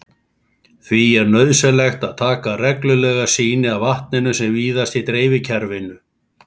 Því er nauðsynlegt að taka reglulega sýni af vatninu sem víðast í dreifikerfinu.